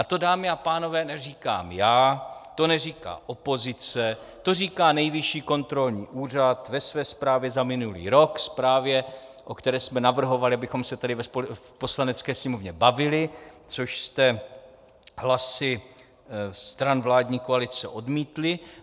A to, dámy a pánové, neříkám já, to neříká opozice, to říká Nejvyšší kontrolní úřad ve své zprávě za minulý rok, zprávě, o které jsme navrhovali, abychom se tady v Poslanecké sněmovně bavili, což jste hlasy stran vládní koalice odmítli.